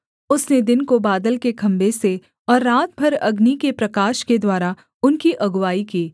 उसने दिन को बादल के खम्भे से और रात भर अग्नि के प्रकाश के द्वारा उनकी अगुआई की